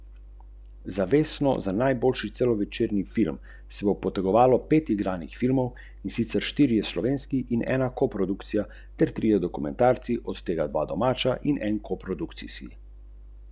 Slovenski slovnici se posveča s tolikšno strastjo, da mu je v manj kot desetletju uspel izjemen opus, piše v Delu Uroš Urbas.